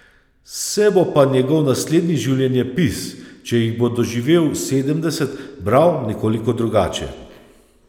Se bo pa njegov naslednji življenjepis, če jih bo doživel sedemdeset, bral nekoliko drugače.